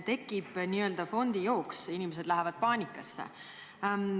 Tekib n-ö fondijooks, inimesed lähevad paanikasse.